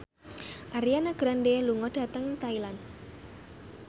Ariana Grande lunga dhateng Thailand